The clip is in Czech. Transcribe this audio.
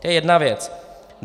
To je jedna věc.